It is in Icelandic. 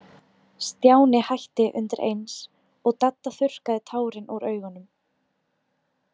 Stjáni hætti undir eins, og Dadda þurrkaði tárin úr augunum.